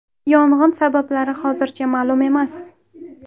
Yong‘in sabablari hozircha ma’lum emas.